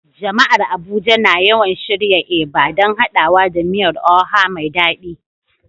Jama'ar Abuja na yawan shirya Eba don haɗawa da miyar Oha mai dadi.